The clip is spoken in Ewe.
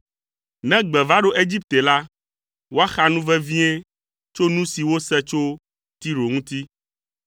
Ne gbe va ɖo Egipte la, woaxa nu vevie tso nu si wose tso Tiro ŋuti.